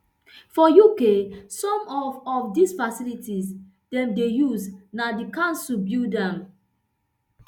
for uk some of of di facilities dem dey use na di councils build am